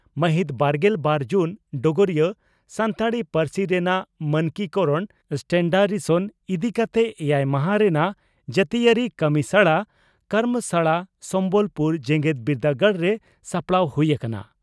ᱢᱟᱹᱦᱤᱛ ᱵᱟᱨᱜᱮᱞ ᱵᱟᱨ ᱡᱩᱱ (ᱰᱚᱜᱚᱨᱤᱭᱟᱹ) ᱺ ᱥᱟᱱᱛᱟᱲᱤ ᱯᱟᱹᱨᱥᱤ ᱨᱮᱱᱟᱜ ᱢᱟᱱᱠᱤ ᱠᱚᱨᱚᱬ ᱥᱴᱮᱱᱰᱟᱨᱤᱥᱚᱥᱚᱱ) ᱤᱫᱤ ᱠᱟᱛᱮ ᱮᱭᱟᱭ ᱢᱟᱦᱟᱸ ᱨᱮᱱᱟᱜ ᱡᱟᱹᱛᱤᱭᱟᱹᱨᱤ ᱠᱟᱢᱤᱥᱟᱲᱟ (ᱠᱚᱨᱢᱚᱥᱟᱲᱟ) ᱥᱚᱢᱵᱚᱞ ᱯᱩᱨ ᱡᱮᱜᱮᱛ ᱵᱤᱨᱫᱟᱹᱜᱟᱲ ᱨᱮ ᱥᱟᱯᱲᱟᱣ ᱦᱩᱭ ᱟᱠᱟᱱᱟ ᱾